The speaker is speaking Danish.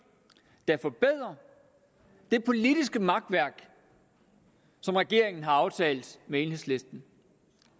der forbedrer det politiske makværk som regeringen har aftalt med enhedslisten